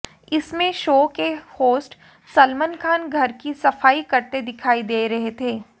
इसमें शो के होस्ट सलमान खान घर की सफाई करते दिखाई दे रहे थे